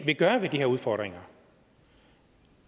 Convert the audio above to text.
vil gøre ved de her udfordringer